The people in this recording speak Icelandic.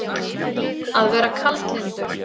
Að vera kaldlyndur